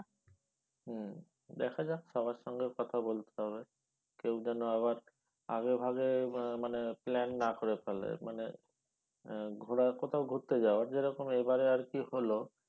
হম দেখা যাক সবার সঙ্গে কথা বলতে হবে কেউ যেন আবার আগে ভাগে মানে plan না করে ফেলে মানে ঘোরা কোথাও ঘুরতে যাওয়ার যেরকম এবারে আর কি হল